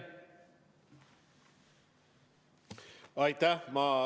Aitäh!